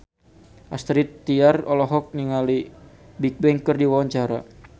Astrid Tiar olohok ningali Bigbang keur diwawancara